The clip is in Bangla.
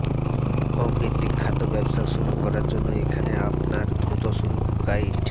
হোম ভিত্তিক খাদ্য ব্যবসা শুরু করার জন্য এখানে আপনার দ্রুত শুরু গাইড